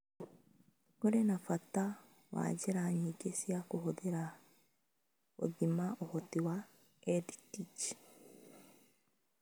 Kũrĩ na bata wa njĩra nyingĩ cia kũhũthĩra gũthima ũhoti wa EdTech.